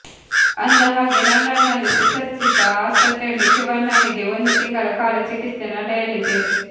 ಅಂದ ಹಾಗೆ ಲಂಡನ್ ನಲ್ಲಿ ಸುಸಜ್ಜಿತ ಆಸ್ಪತ್ರೆಯಲ್ಲಿ ಶಿವಣ್ಣನಿಗೆ ಒಂದು ತಿಂಗಳ ಕಾಲ ಚಿಕಿತ್ಸೆ ನಡೆಯಲಿದೆ